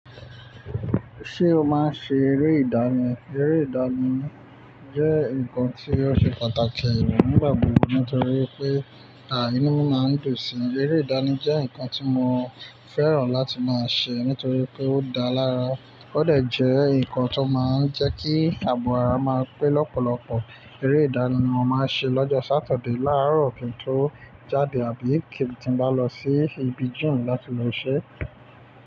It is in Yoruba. Ṣé o máa ń ṣe eré ìdáni? Eré ìdáni jẹ́ nǹkan tí ó ṣe pàtàkì nígbà gbogbo nítorí pé ìnú máa ń dùn si. Eré ìdáni jẹ́ nǹkan tí mo fẹ́ràn láti máa n ṣe nítorí pé ó dá lára. Ó dẹ̀ jẹ́ nǹkan tó máa ń jẹ́ kí àbọ̀ ara máa pé lọ́pọ̀lọpọ̀. Eré ìdáni ni mo máa ń ṣe lọ́jọ́ Sátọ̀dé láárọ̀ kí n tó jáde àbí kí n bá lọ sí ibi gym láti lọ iṣẹ́.